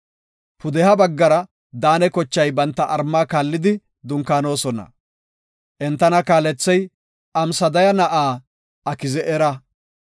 Pudeha baggara Daane kochay banta malla kaallidi dunkaanona. Entana kaalethey Amsadaya na7aa Aki7ezera.